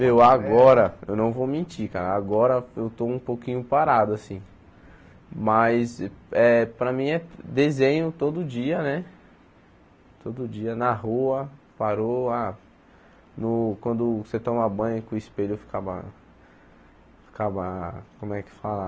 Meu, agora eu não vou mentir, cara agora eu estou um pouquinho parado assim, mas para mim é desenho todo dia né, todo dia, na rua, parou ah, no quando você toma banho com o espelho ficava, ficava como é que fala?